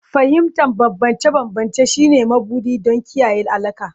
Fahimtar bambance-bambance shine mabuɗi don kiyaye alaƙa.